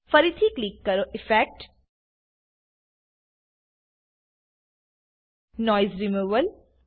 ફરીથી ક્લિક કરો effect noise removal